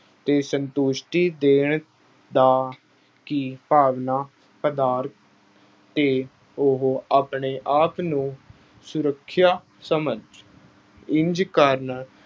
ਤੇ ਸੰਤੁਸ਼ਟੀ ਦੇਣ ਦਾ ਅਹ ਕਿ ਭਾਵਨਾ ਕੇ ਉਹ ਆਪਣੇ ਆਪ ਨੂੰ ਸੁਰੱਖਿਆ ਸਮਝ, ਇੰਝ ਕਰਨ